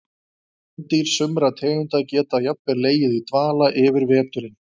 Kvendýr sumra tegunda geta jafnvel legið í dvala yfir veturinn.